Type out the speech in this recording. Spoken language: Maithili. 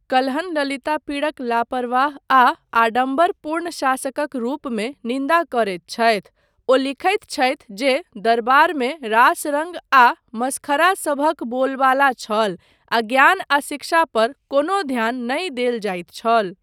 कल्हण ललितापीडक लापरवाह आ आडम्बरपूर्ण शासकक रूपमे निन्दा करैत छथि, ओ लिखैत छथि जे दरबारमे रास रङ्ग आ मसखरा सभक बोलबाला छल आ ज्ञान आ शिक्षा पर कोनो ध्यान नहि देल जाइत छल।